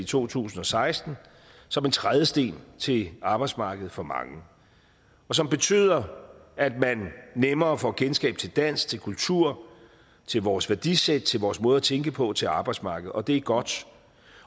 to tusind og seksten som en trædesten til arbejdsmarkedet for mange og som betyder at man nemmere får kendskab til dansk til kultur til vores værdisæt til vores måde at tænke på til arbejdsmarkedet og det er godt